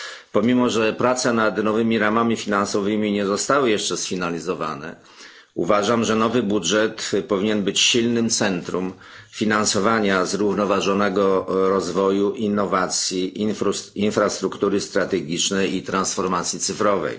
Pomimo że prace nad nowymi ramami finansowymi nie zostały jeszcze sfinalizowane, uważam, że nowy budżet powinien być silnym centrum finansowania zrównoważonego rozwoju, innowacji, infrastruktury strategicznej i transformacji cyfrowej.